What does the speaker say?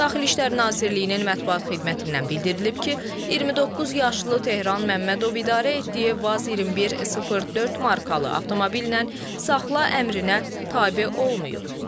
Daxili İşlər Nazirliyinin mətbuat xidmətindən bildirilib ki, 29 yaşlı Tehran Məmmədov idarə etdiyi Vaz 2104 markalı avtomobillə saxla əmrinə tabe olmayıb.